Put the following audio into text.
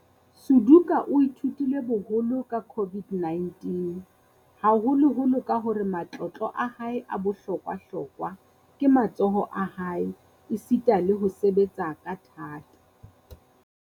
Suduka o ithutile boholo ka COVID-19, haholoholo ka hore matlotlo a hae a bohlokwa-hlokwa ke matsoho a hae esita le ho sebetsa ka thata.